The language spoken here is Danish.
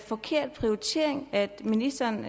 forkert prioritering ministeren